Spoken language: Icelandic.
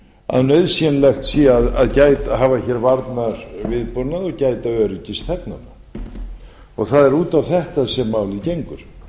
að nauðsynlegt sé að hafa hér varnarviðbúnað og gæta öryggis þegnanna það er út á þetta sem málið gengur